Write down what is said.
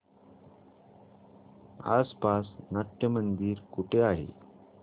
आसपास नाट्यमंदिर कुठे आहे